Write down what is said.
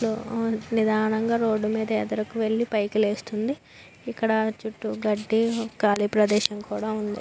Slow నిదానంగా road మీద ఎదురుకు వెళ్లి పైకి లేస్తుంది. ఇక్కడ చుట్టూ గడ్డి కాళీ ప్రదేశం కూడా ఉంది --